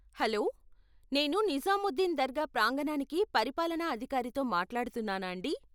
Hello నేను నిజాముద్దీన్ దర్గా ప్రాంగణానికి పరిపాలనా అధికారితో మాట్లాడుతున్నానాండీ?